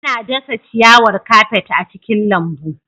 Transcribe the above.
Ana dasa ciyawar kafet a cikin lambu.